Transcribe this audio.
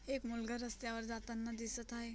एक मुलगा रस्त्यावर जाताना दिसत आहे.